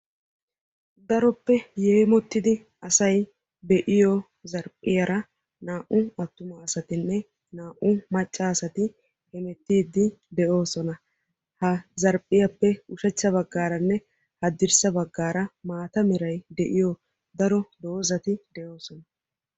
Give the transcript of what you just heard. Daroppe yeemottidi asay be"iyoo zarphiyaara naa"u attuma asatinne naa"u macca asati hemettiidi de"oosona. Ha zarphiyappe ushachcha baggaaranne hadirssa baggaara maata meray de"iyo daro doozati de"oosona.